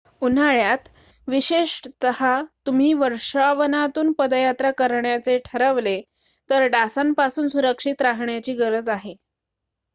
उन्हाळ्यात विशेषतः तुम्ही वर्षावनातून पदयात्रा करण्याचे ठरवले तर डासांपासून सुरक्षित राहण्याची गरज आहे